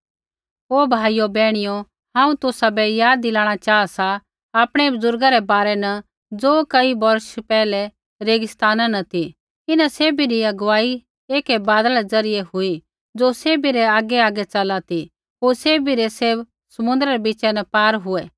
ओ भाइयो बैहणियो हांऊँ तुसाबै याद दिलाणा च़ाहा सा आपणै बुज़ुर्गा रै बारै न ज़ो कई बौर्षा पैहलै रेगिस्ताना न ती इन्हां सैभी री अगुवाई ऐकै बादला रै ज़रियै हुई ज़ो सैभी रै आगैआगै चला ती होर सैभी रै सैभ समूँद्रै रै बीचा न पार हुऐ